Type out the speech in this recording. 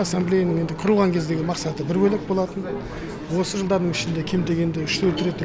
ассамблеяның құрылған кездегі мақсаты бір бөлек болатын осы жылдардың ішінде кем дегенде үш төрт рет